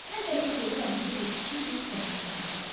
Mən təklif edirəm bu gecə kiçik bir tədqiqat aparaq.